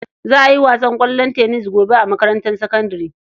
Za a yi wasan ƙwallon tennis gobe a makarantar sakandare.